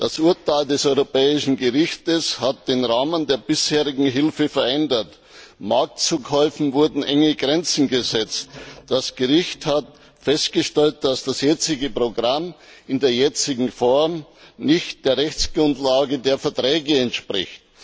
Das Urteil des Europäischen Gerichtshofs hat den Rahmen der bisherigen Hilfe verändert. Marktzukäufen wurden enge Grenzen gesetzt. Das Gericht hat festgestellt, dass das jetzige Programm in der jetzigen Form nicht der Rechtsgrundlage der Verträge entspricht.